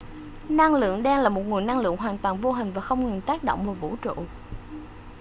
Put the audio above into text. năng lượng đen là một nguồn năng lượng hoàn toàn vô hình và không ngừng tác động vào vũ trụ